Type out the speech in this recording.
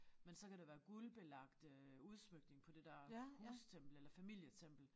Men så kan der være guldbelagt øh udsmykning på det der hustempel eller familietempel